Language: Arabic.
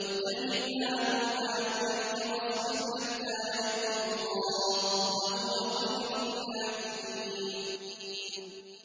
وَاتَّبِعْ مَا يُوحَىٰ إِلَيْكَ وَاصْبِرْ حَتَّىٰ يَحْكُمَ اللَّهُ ۚ وَهُوَ خَيْرُ الْحَاكِمِينَ